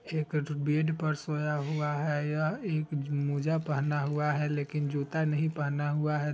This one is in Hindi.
जे बेड पर सोया हुआ है| यह एक मोजा पहना हुआ है लेकिन जूता नही पहना हुआ है।